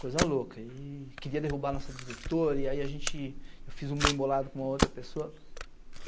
coisa louca, e queria derrubar a nossa diretora, e aí a gente, eu fiz um bem bolado com uma outra pessoa.